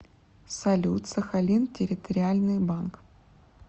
салют сахалин территориальный банк